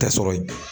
Tɛ sɔrɔ